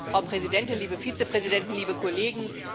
Frau Präsidentin, liebe Vizepräsidenten, liebe Kollegen!